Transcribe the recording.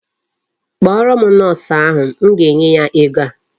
Kpọrọ m Nọọsụ ahụ. M ga-enye ya ego a.